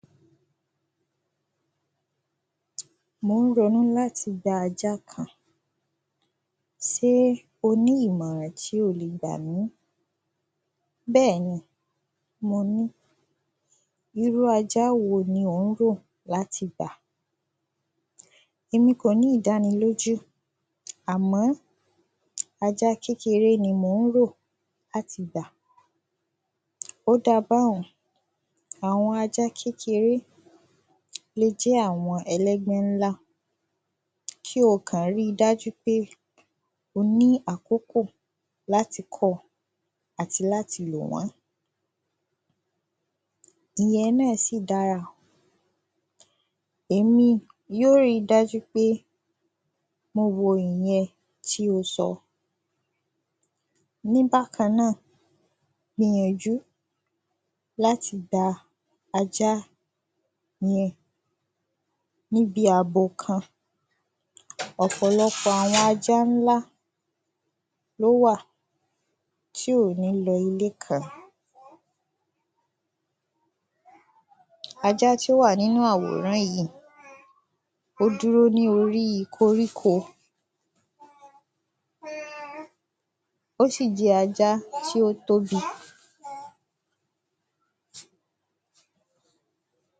Mò ń ronú láti gba ajá kan sé o ní ìmọ̀ràn tí o le gbà mí Bẹ́ẹ̀ni mo ní Irú ajá wo ni ò ń rò láti gbà? Èmi kò ní ìdánilójú àmó ajá kékeré ni mò ń rò láti gbà Ó da báun àwọn ajá kékeré le jẹ́ àwọn ẹlẹ́gbẹ́ ńlá kí o kàn rí i dájú pé ó ní àkókò láti kọ́ àti láti lò wọ́n Ìyẹn náà sì dára èmi yóò ri dájú pé mo wo ìyẹn tí o sọ Ní bákan náà gbìyànjú láti gba ajá yẹn níbi àbò kan ọ̀pọ̀lọpọ̀ àwọn ajá ńlá ló wà tí ò ní lọ ilé kan Ajá tí ó wà nínú àwòrán yìí ó dúró ní orí koríko ó sì jẹ́ ajá tí ó tóbi